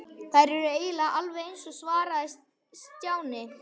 Þær eru eiginlega alveg eins svaraði Stjáni.